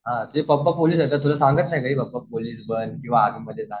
हां तुझे पप्पा पोलीस आहेत ना तुला सांगत नाहीत का पोलीस बन किंवा आर्मीमध्ये जा